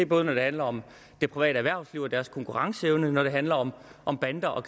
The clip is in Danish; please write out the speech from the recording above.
både når det handler om det private erhvervsliv og deres konkurrenceevne og når det handler om om banderne og